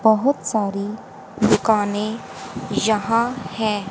बहुत सारी दुकानें यहां है।